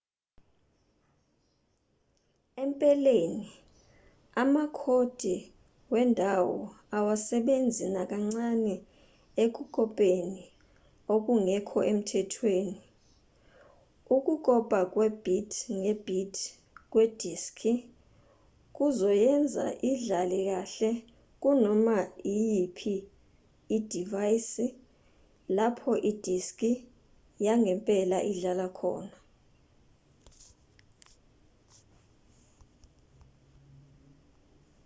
empeleni amakhodi wendawo awasebenzi nakancane ekukopeni okungekho emthethweni ukukopa kwe-bit nge-bit kwediski kuzoyenza idlale kahle kunoma iyiphi idivayisi lapho idiski yangempela ingadlala khona